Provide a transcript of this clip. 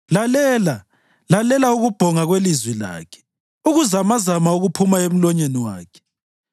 Lalela! Lalela ukubhonga kwelizwi lakhe, ukuzamazama okuphuma emlonyeni wakhe.